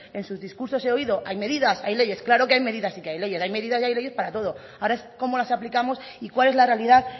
en sus discursos he oído hay medidas hay leyes claro que hay medidas y que hay leyes hay medidas y hay leyes para todo ahora es cómo las aplicamos y cuál es la realidad